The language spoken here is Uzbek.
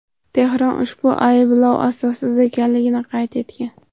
Tehron ushbu ayblovlar asossiz ekanligini qayd etgan.